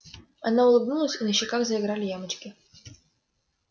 она улыбнулась и на щеках заиграли ямочки